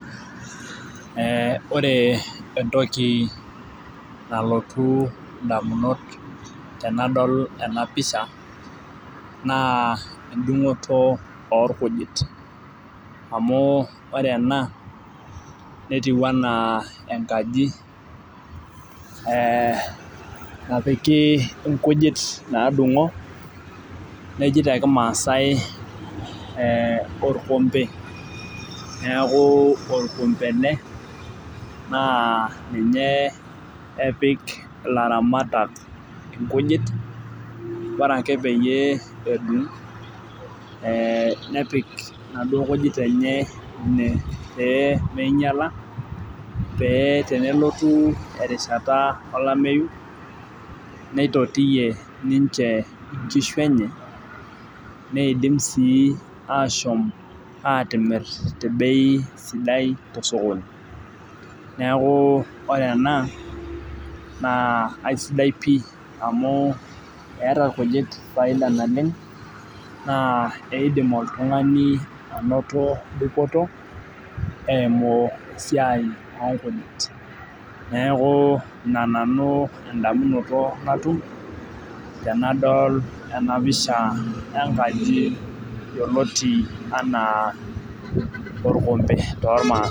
Ee ore entoki nalotu damunot tenadol ena pisha naa edungoto orkujit. amu ore ena netiu anaa enkaji.ee napiki inkujit naadungo, neji te kimaasai orkompe. neeku orkombe ele. naa ninye epik ilaramatak irkujit. ore ake peyie, edung nepik inaduoo kujit enye ine pee ningiala pee tenelotu, erishata olameyu. nitotiyie ninche inkishu enye. neidim sii aashom aatimir te bei sidai tosokoni. neeku ore ene naa aisidai pii amu eeta ilkujit faida naleng. naa eidim oltungani anoto dupoto eimu esiai oo nkujit neeku Ina nanu edamunoto natum , tenadol ena pisha enkaji yioloti anaa orkompee toolmaasae.